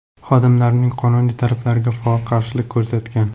xodimlarning qonuniy talablariga faol qarshilik ko‘rsatgan.